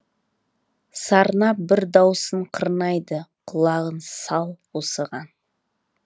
сарнап бір даусын қырнайды құлағың сал осыған